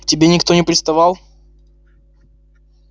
к тебе никто не приставал